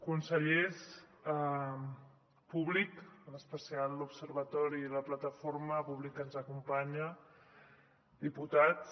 consellers públic en especial l’observatori i la plataforma que ens acompanya diputats